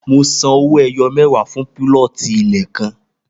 Mo san owó ẹyọ mẹwa fún púlọ̀tì ilẹ̀ kan